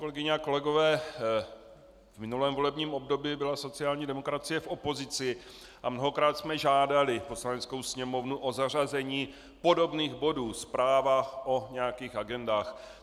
Kolegyně a kolegové, v minulém volebním období byla sociální demokracie v opozici a mnohokrát jsme žádali Poslaneckou sněmovnu o zařazení podobných bodů, zpráv o nějakých agendách.